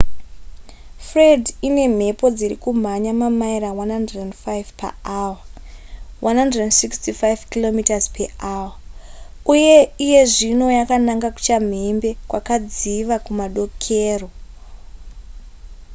fred ine mhepo dziri kumhanya mamaira 105 paawa165 km/hr uye iye zvino yananga kuchamhembe kwakadziva kumadokero